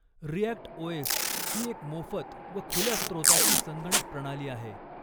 React OS ही एक मोफत व खुल्या स्रोताची संगणक प्रणाली आहे.